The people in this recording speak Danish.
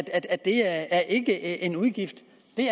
at det ikke er en en udgift